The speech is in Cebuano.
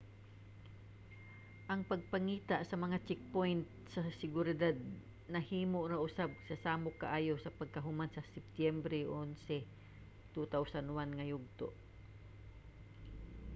ang pagpangita sa mga checkpoint sa seguridad nahimo na usab nga samok kaayo sa pagkahuman sa septyembre 11,2001 nga yugto